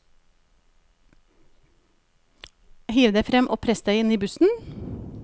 Hiv deg frem og press deg inn i bussen.